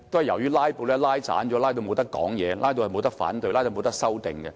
由於"拉布"，議員不能發言、不能反對、不能修訂。